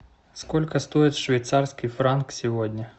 сколько стоит швейцарский франк сегодня